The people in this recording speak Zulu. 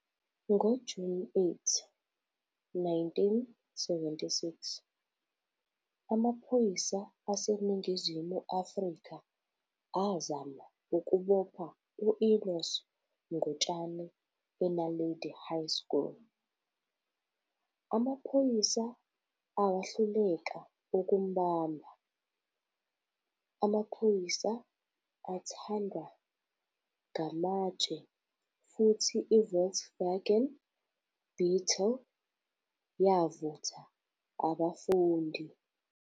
Ngo-8 Juni 1976, amaphoyisa aseNingizimu Afrika azama ukubopha u-Enos Ngutshane eNaledi High School. Amaphoyisa awahluleka ukumbamba, amaphoyisa athandwa ngamatshe futhi iVolkswagen Beetle yavutha abafundi.